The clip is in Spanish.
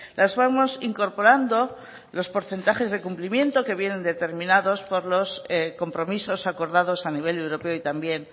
las vamos incorporando los porcentajes de cumplimiento que vienen determinados por los compromisos acordados a nivel europeo y también